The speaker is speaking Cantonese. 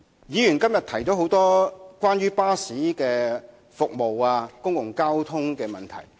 議員今天提出了很多關於巴士服務和公共交通的問題。